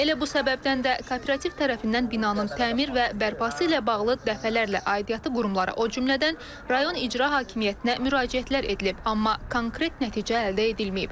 Elə bu səbəbdən də kooperativ tərəfindən binanın təmir və bərpası ilə bağlı dəfələrlə aidiyyatı qurumlara, o cümlədən rayon icra hakimiyyətinə müraciətlər edilib, amma konkret nəticə əldə edilməyib.